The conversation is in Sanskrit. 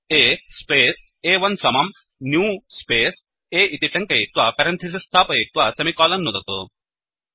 A स्पेस् अ1 समम् न्यू स्पेस् A इति टङ्कयित्वा पेरन्थिसिस् स्थापयित्वा सेमिकोलन् नुदतु